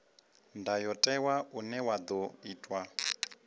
ndayotewa une wa ḓo itwa